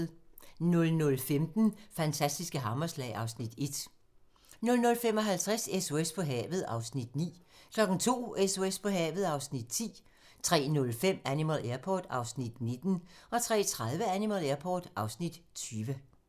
00:15: Fantastiske hammerslag (Afs. 1) 00:55: SOS på havet (Afs. 9) 02:00: SOS på havet (Afs. 10) 03:05: Animal Airport (Afs. 19) 03:30: Animal Airport (Afs. 20)